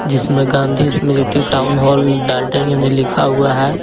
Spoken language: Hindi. इसमें गांधी स्मृति टाउन हॉल डाल्टनगंज लिखा हुआ है।